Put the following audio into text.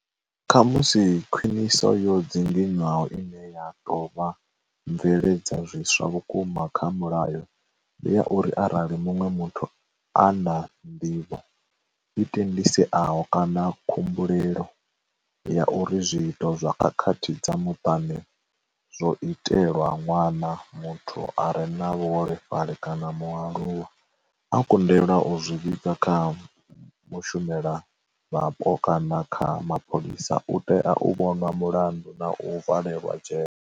Khamusi khwiniso yo dzinginywaho ine ya tou vha mveledzazwiswa vhukuma kha mulayo, ndi ya uri arali muṅwe muthu a na nḓivho, i tendiseaho kana khumbulelo ya uri zwiito zwa khakhathi dza muṱani zwo itelwa ṅwana, muthu a re na vhu holefhali kana mualuwa, a kundelwa u zwi vhiga kha mushumelavhapo kana kha mapholisa, u tea u vhonwa mulandu na u valelwa dzhele.